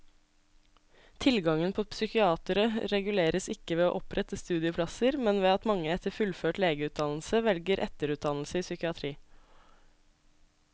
Tilgangen på psykiatere reguleres ikke ved å opprette studieplasser, men ved at mange etter fullført legeutdannelse velger etterutdannelse i psykiatri.